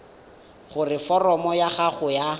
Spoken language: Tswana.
gore foromo ya gago ya